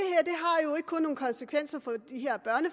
er nogle konsekvenser